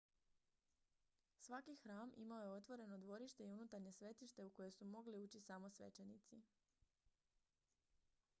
svaki hram imao je otvoreno dvorište i unutarnje svetište u koje su mogli ući samo svećenici